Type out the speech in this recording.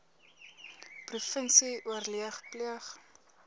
provinsie oorleg pleeg